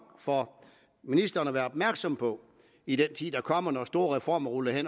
for ministeren at være opmærksom på i den tid der kommer når store reformer rulles